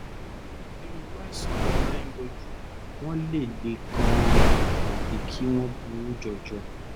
onírúurú àìsàn ló máa ń yọjú wọ́n lè le gan-an tàbí kí wọ́n burú jọjọ